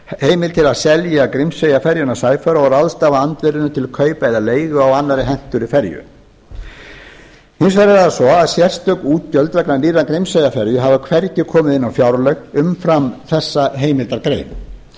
heimild til að selja grímseyjarferjuna sæfara og ráðstafa andvirðinu til kaupa eða leigu á annarri hentugri ferju hins vegar er það svo að sérstök útgjöld vegna nýrrar grímseyjarferju hafa hvergi komið inn á fjárlög umfram þessa heimildargrein